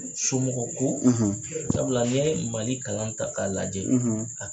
Somɔgɔko sabula n'i ye Mali kalan ta k'a lajɛ